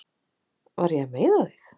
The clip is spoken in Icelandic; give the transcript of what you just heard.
Var ég að meiða þig?